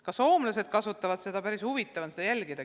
Ka soomlased kasutavad seda, ja seda on päris huvitav jälgida.